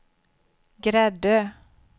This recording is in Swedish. Gräddö